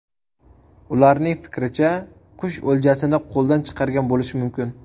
Ularning fikricha, qush o‘ljasini qo‘ldan chiqargan bo‘lishi mumkin.